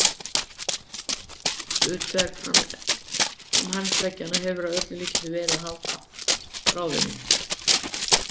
Hlutverk framhandleggjanna hefur að öllum líkindum verið að halda bráðinni.